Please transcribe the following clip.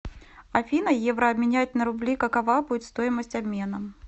афина евро обменять на рубли какова будет стоимость обмена